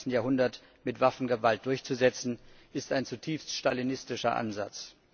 21. Jahrhunderts mit Waffengewalt durchzusetzen, ist ein zutiefst stalinistischer Ansatz.